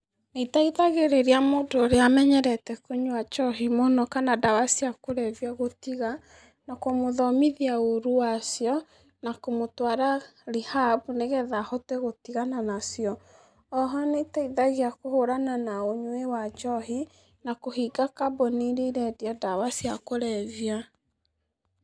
Iteithagĩrĩria mũndũ ũrĩa amenyerete kũnyua njohi neno kana ndawa cia kũrebia gũtiga, na kũmũthomithia ũru wacio, na kũmũtwara rehab nĩgetha ahote gũtigana nacio, oho nĩteithagia kũhũrana na ũnyui wa njohi, na kũhinga kambũni iria irendia ndawa cia kũrebia.